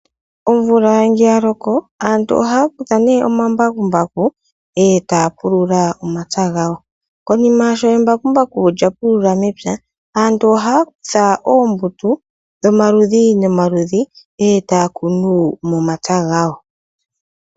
Omvula nge yaloko aantu ohayakutha ne omambakumbaku etaya pulula omapya gawo, konima sho embakumbaku lyapulula mepya aantu ohayakutha oombuto dhomaludhi nomaludhi etayakunu momapya gawo.